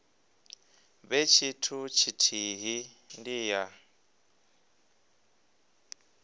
vhe tshithu tshithihi ndi ya